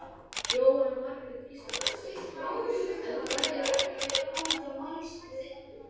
Jóhanna Margrét Gísladóttir: En það hefur ekki verið komið til máls við ykkur?